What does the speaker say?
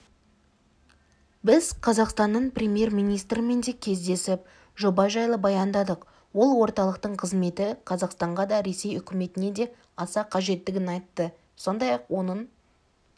біз қазақстанның премьер-министрімен де кездесіп жоба жайлы баяндадық ол орталықтың қызметі қазақстанға да ресей үкіметіне де аса қажеттігін айтты сондай-ақ оның